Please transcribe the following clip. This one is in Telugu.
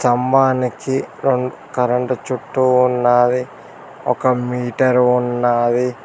సమ్మానికి కరెంటు చుట్టూ ఉన్నాది ఒక మీటర్ ఉన్నాది.